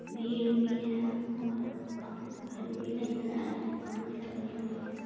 भीड़ भी है बहुत और यहा घर भि नजर आ रहा है दुकाने भि लगी हुई है।